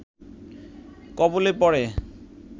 কবলে পড়ে